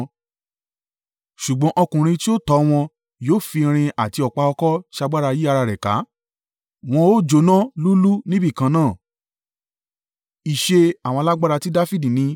Ṣùgbọ́n ọkùnrin tí yóò tọ́ wọn yóò fi irin àti ọ̀pá ọ̀kọ̀ ṣagbára yí ara rẹ̀ ká; wọ́n ó jóná lúúlúú níbìkan náà.”